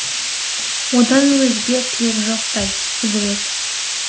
одан өзге тілек жоқтай құдірет